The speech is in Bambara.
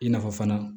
I na fɔ fana